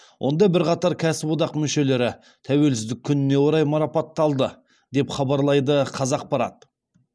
онда бірқатар кәсіподақ мүшелері тәуелсіздік күніне орай марапатталды деп хабарлайды қазақпарат